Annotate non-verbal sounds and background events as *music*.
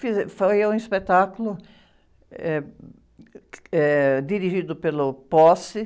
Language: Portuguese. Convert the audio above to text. *unintelligible* Foi um espetáculo, eh, *unintelligible* eh, dirigido pelo. *unintelligible*